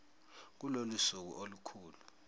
kulolu suku olukhulu